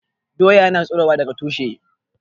Doya ya na tsirowa daga tushe